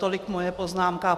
Tolik moje poznámka.